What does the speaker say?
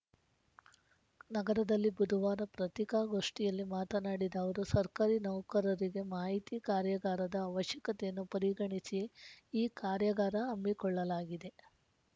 ನಗರದಲ್ಲಿ ಬುಧವಾರ ಪತ್ರಿಕಾಗೋಷ್ಠಿಯಲ್ಲಿ ಮಾತನಾಡಿದ ಅವರು ಸರ್ಕಾರಿ ನೌಕರರಿಗೆ ಮಾಹಿತಿ ಕಾರ್ಯಾಗಾರದ ಅವಶ್ಯಕತೆಯನ್ನು ಪರಿಗಣಿಚಿ ಈ ಕಾರ್ಯಾಗಾರ ಹಮ್ಮಿಕೊಳ್ಳಲಾಗಿದೆ